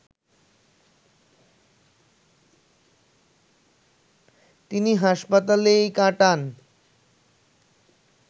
তিনি হাসপাতালেই কাটান